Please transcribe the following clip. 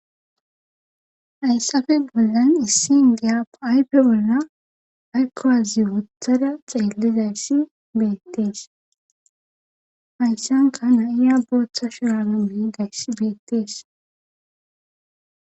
ayssafe bollan issi ingiya pa7ayppe bolna aykkowazi wuthada xeelizayssi beettees ayssanka na7iya booththa shuranami dayssi beettees